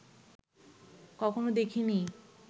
কখনো দেখিনি